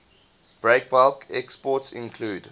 breakbulk exports include